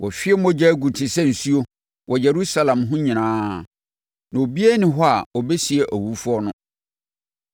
Wɔahwie mogya agu te sɛ nsuo wɔ Yerusalem ho nyinaa, na obiara nni hɔ a ɔbɛsie awufoɔ no.